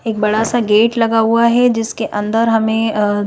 एक बड़ा सा गेट लगा हुआ है जिसके अंदर हमें अअ--